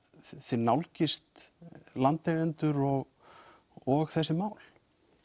þið nálgist landeigendur og og þessi mál